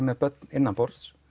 með börn innanborðs